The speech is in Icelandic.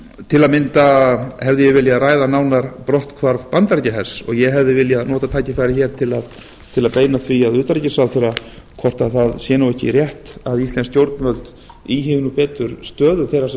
til að mynda hefði ég viljað ræða nánar brotthvarf bandaríkjahers og ég hefði viljað nota tækifærið hér til að beina því að utanríkisráðherra hvort það sé ekki rétt að íslensk stjórnvöld íhugi betur stöðu þeirra sem